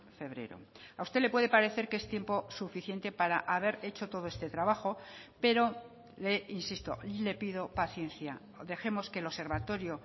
febrero a usted le puede parecer que es tiempo suficiente para haber hecho todo este trabajo pero le insisto y le pido paciencia dejemos que el observatorio